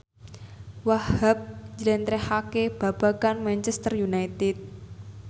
Wahhab njlentrehake babagan Manchester united